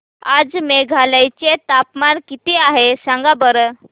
आज मेघालय चे तापमान किती आहे सांगा बरं